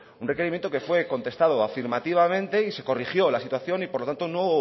un requerimiento que fue contestado afirmativamente y se corrigió la situación y por lo tanto no